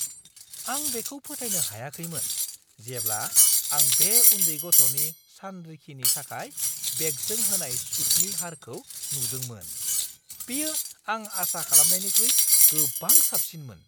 आं बेखौ फोथायनो हायाखैमोन जेब्ला आं बे उन्दै गथ'नि सानरिखिनि थाखाय बेंकजों होनाय सुदनि हारखौ नुदोंमोन। बेयो आं आसा खालामनायनिख्रुइ गोबां साबसिनमोन।